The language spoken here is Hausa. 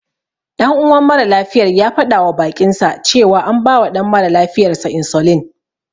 Ɗan uwan maralafiyar ya faɗawa baƙinsa cewa an bawa ɗan mara lafiyarsa insulin.